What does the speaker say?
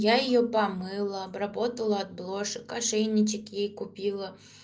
я её помыла обработала от блошек ошейничек ей купила